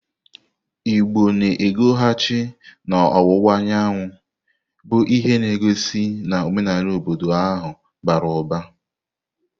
Igbo na-ekwughachi n'ọwụwa anyanwụ, bụ ihe na-egosi na omenala obodo ahụ bara ụbara.